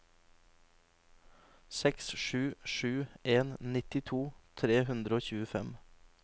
seks sju sju en nittito tre hundre og tjuefem